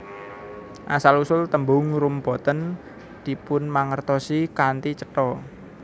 Asal usul tembung rum boten dipunmangertosi kanthi cetha